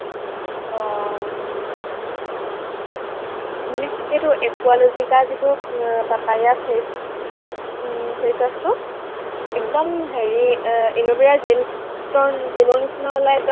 আহ মানে সেইটো একুৱালজিকা যিটো আহ পাপায়া face উম face wash টো একদম হেৰি এৰ এল ভেৰা gelt ৰ gel ৰ নিচিনা ওলায়